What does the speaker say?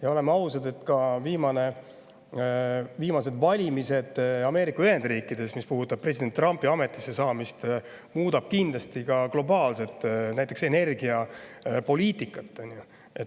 Ja oleme ausad, ka viimased valimised Ameerika Ühendriikides ja president Trumpi ametisse saamine muudavad kindlasti globaalset energiapoliitikat.